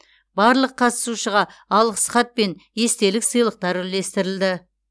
барлық қатысушыға алғыс хат пен естелік сыйлықтар үлестірілді